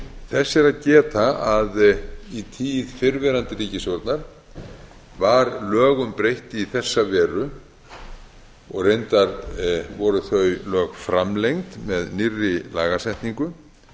þess er að geta að í tíð fyrrverandi ríkisstjórnar var lögum breytt í þessa veru og reyndar voru þau lög framlengd með nýrri lagasetningu